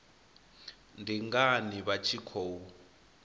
ndi ngani vha tshi khou